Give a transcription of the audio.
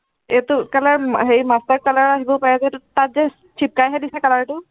এইটো color উম হেৰি master color আহিব পাৰে যে এইটোত, তাত যে চিপকাইহে দিছে color টো